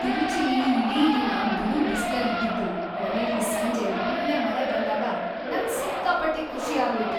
ತಿರುಚಿಲಿ ಇಡೀ ದಿನ ಬಿರುಬಿಸ್ಲಿದ್ದಿದ್ದು ಕೊನೆಲಿ ಸಂಜೆ ಒಳ್ಳೆ ಮಳೆ ಬಂದಾಗ ನಂಗ್ ಸಿಕ್ಕಾಪಟ್ಟೆ ಖುಷಿ ಆಗೋಯ್ತು.